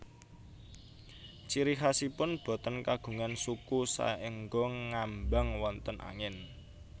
Ciri khasipun boten kagungan suku saéngga ngambang wonten angin